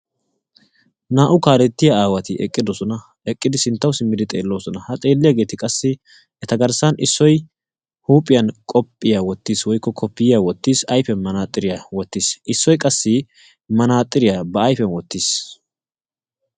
Naa"u kaalettiyaa aawati eqqidosona. eqqidi sinttawu simmidi xeelloosona. ha xeelliyaageti qassi eta garssan issoy huuphphiyaan qoophiyaa wottiis woykko kopiyiyaa wottiis ayfiyaan manaatsiriyaa wottiis, issoy qassi manaasiriyaa ba ayfiyaan wottiis.